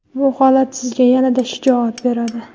Bu holat sizga yanada shijoat beradi.